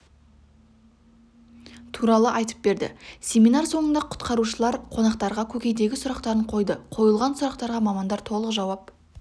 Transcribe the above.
туралы айтып берді семинар соңында құтқарушылар қонақтарға көкейдегі сұрақтарын қойды қойылған сұрақтарға мамандар толық жауап